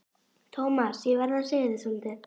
Thomas, ég verð að segja þér svolítið.